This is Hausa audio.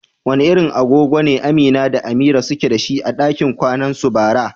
Wani irin agogo ne Amina da Amira suke dashi a dakin kwanansu bara?